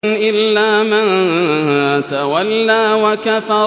إِلَّا مَن تَوَلَّىٰ وَكَفَرَ